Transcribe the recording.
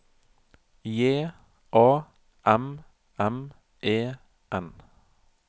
J A M M E N